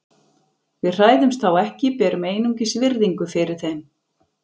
Við hræðumst þá ekki, berum einungis virðingu fyrir þeim.